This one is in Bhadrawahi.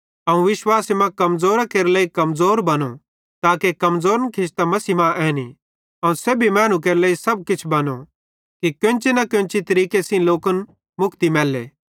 अवं विश्वासे मां कमज़ोरां केरे लेइ कमज़ोर बनो ताके कमज़ोरन खिचतां मसीह मां ऐनीं अवं सेब्भी मैनू केरे लेइ सब किछ बनो कि कोन्ची न कोन्ची तरीके सेइं लोकन मुक्ति मैल्ली